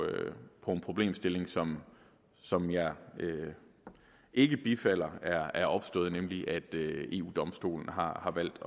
en problemstilling som som jeg ikke bifalder er er opstået nemlig at eu domstolen har valgt